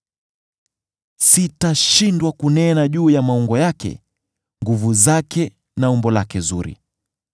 “Sitashindwa kunena juu ya maungo yake, nguvu zake na umbo lake zuri.